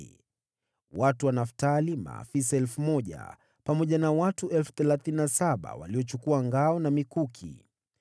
Watu wa Naftali, maafisa 1,000, pamoja na watu 37,000 waliochukua ngao na mikuki.